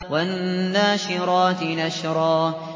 وَالنَّاشِرَاتِ نَشْرًا